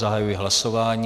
Zahajuji hlasování.